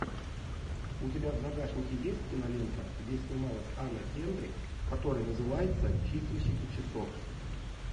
у тебя в загашнике есть кинолента где снималась анна кендрик которая называется чистильщики часов